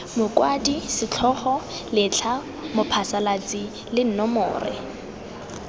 mokwadi setlhogo letlha mophasalatsi nomore